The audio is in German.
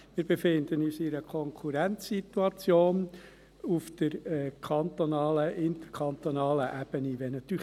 Wir befinden uns auf interkantonaler Ebene in einer Konkurrenzsituation.